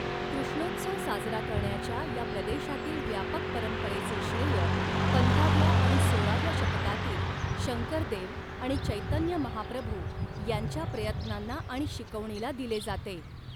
कृष्णोत्सव साजरा करण्याच्या या प्रदेशांतील व्यापक परंपरेचे श्रेय, पंधराव्या आणि सोळाव्या शतकांतील शंकरदेव आणि चैतन्य महाप्रभू यांच्या प्रयत्नांना आणि शिकवणीला दिले जाते.